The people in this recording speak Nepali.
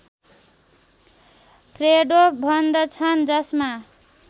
फ्रेडो भन्दछन् जसमा